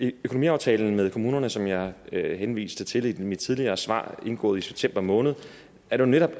økonomiaftalen med kommunerne som jeg henviste til i mit tidligere svar og indgået i september måned er jo netop